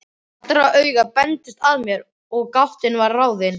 Allra augu beindust að mér og gátan var ráðin.